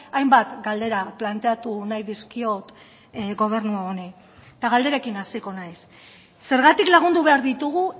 hainbat galdera planteatu nahi dizkiot gobernu honi eta galderekin hasiko naiz zergatik lagundu behar ditugu